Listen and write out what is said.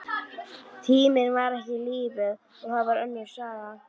Tíminn var ekki lífið, og það var önnur saga.